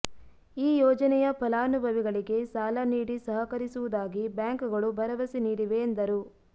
ಈ ಯೋಜನೆಯ ಫಲಾನುಭವಿಗಳಿಗೆ ಸಾಲ ನೀಡಿ ಸಹಕರಿಸುವುದಾಗಿ ಬ್ಯಾಂಕ್ಗಳು ಭರವಸೆ ನೀಡಿವೆ ಎಂದರು